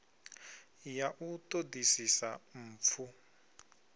ya u ṱo ḓisisa mpfu